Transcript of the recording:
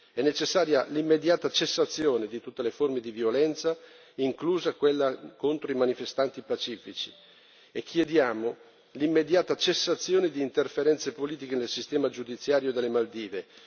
È necessaria l'immediata cessazione di tutte le forme di violenza, inclusa quella contro i manifestanti pacifici, e chiediamo l'immediata cessazione di interferenze politiche nel sistema giudiziario delle Maldive.